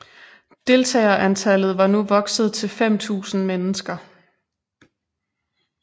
Deltagerantallet var nu vokset til 5000 mennesker